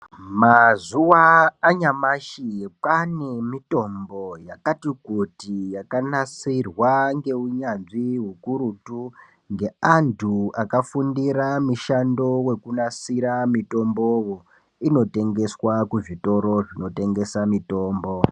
Mazuwa anyamashi pane mitombo yakati kuti ,yakanasirwa ngeunyanzvi hukurutu, ngeantu akafundira mishando wekunasira mitombowo ,inotengeswa kuzvitoro zvinotengesa mitombo.